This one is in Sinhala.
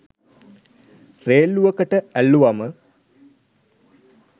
රේල්ලුවකට ඇල්ලුවම.